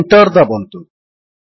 ଓ Enter ଦାବନ୍ତୁ